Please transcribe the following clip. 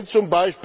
wenn